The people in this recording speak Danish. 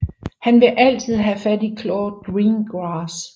Han vil altid have fat i Claude Greengrass